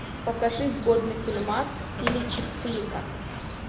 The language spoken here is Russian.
покажи годный фильмас в стиле чикфлика